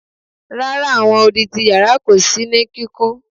Rara, awọn odi ti yara orin ko so no kíkùn